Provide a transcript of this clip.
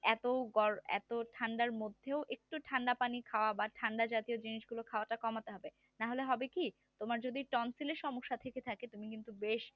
এত গরম এত ঠান্ডার মধ্যে একটু ঠান্ডা পানি খাওয়া বা ঠান্ডা জাতীয় জিনিসগুলো খাওয়া তা কমাতে হবে না হলে হবে কি তোমার যদি tonsil সমস্যা থেকে থাকে তুমি কিন্তু বেশ